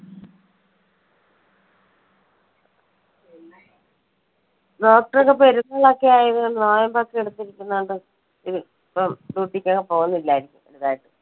doctor ക്കെ പെരുന്നാൾ ഒക്കെ ആയതുകൊണ്ട്, നോയമ്പ് ഒക്കെ എടുത്ത് ഇരിക്കുന്നത് കൊണ്ട് ഇപ്പം duty ഒക്കെ പോകുന്നില്ലായിരിക്കും അല്ലെ?